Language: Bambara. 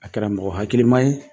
A kɛra mɔgɔ hakiliman ye